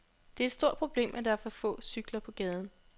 Det er et stort problem, at der er for få cykler på gaden.